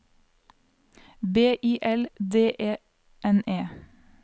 B I L D E N E